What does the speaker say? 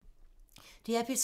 DR P3